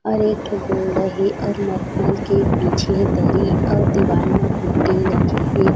और एक ठो बोल्ड हे और मख़मल के बिछे हे दरी और दीवाल म पुट्ठी लगे हे --